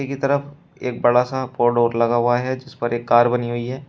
के तरफ एक बड़ा सा बोर्ड और लगा हुआ है जिस पर एक कार बनी हुई है।